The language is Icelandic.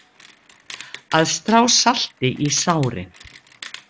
Að strá salti í sárin